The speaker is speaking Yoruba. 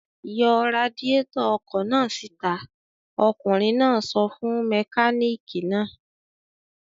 "Yọ radiátọ̀ ọkọ̀ náà síta!" Ọkùnrin náà sọ fún mẹkáníkì náà.